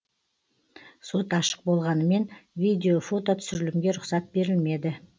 сот ашық болғанымен видео фото түсірілімге рұқсат берілмеді